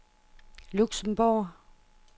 Luxembourg